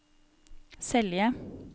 Selje